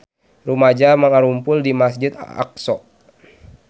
Rumaja ngarumpul di Masjid Aqsa